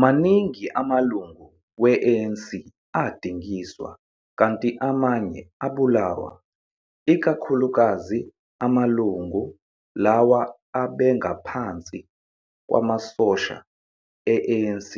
Maningi amalungu we-ANC adingiswa kanti amanye abulawa, ikakhulukazi amalungu lawo abengaphansi kwamasosha e-ANC